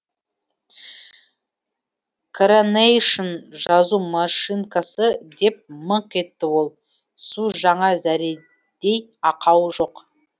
коронейшн жазу машинкасы деп мыңқ етті ол су жаңа зәредей ақауы жоқ